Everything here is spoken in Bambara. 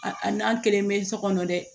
A a n'a kelen bɛ so kɔnɔ dɛ